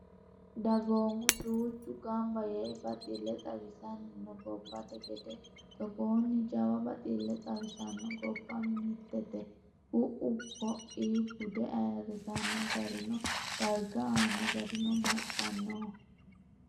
Dagoomu duuchu gamba yee baxile xawisani no gobbate gede togonni jawa bexile xawisano gobba mitete ku"u koi bude ayirrisano garinna darga aano gari baxxanoho.